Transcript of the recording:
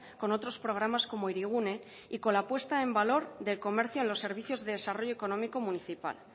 con otros programas como hirigune y con la puesta en valor del comercio a los servicios de desarrollo económico municipal